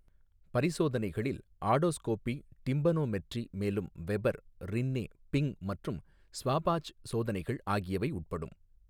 பரிசோதனைகளில் otoscopy, tympanometry, மேலும் Weber, Rinne, Bing மற்றும் ஸ்வாபாச் சோதனைகள் ஆகியவை உட்படும்.